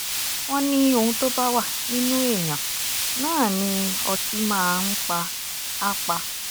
wọ́n ní ohun tó bá wà nínú èèyàn náà ni ọtí máa ń pa á pa